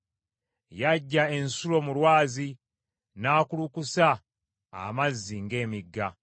Yaggya ensulo mu lwazi, n’akulukusa amazzi ng’emigga.